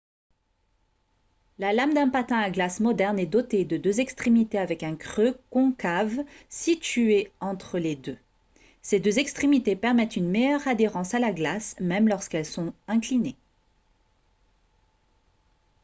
la lame d'un patin à glace moderne est dotée de deux extrémités avec un creux concave situé entre les deux ces deux extrémités permettent une meilleure adhérence à la glace même lorsqu'elles sont inclinées